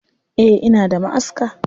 Eh ina da maʼaska.